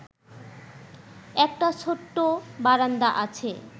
একটা ছোট্ট বারান্দা আছে